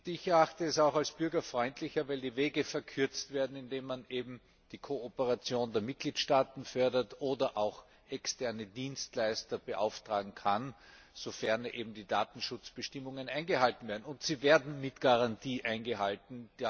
Ich erachte es auch als bürgerfreundlicher, wenn die Wege verkürzt werden, indem man eben die Kooperation der Mitgliedstaaten fördert oder auch externe Dienstleister beauftragen kann, sofern die Datenschutzbestimmungen eingehalten werden. Und sie werden mit Garantie eingehalten!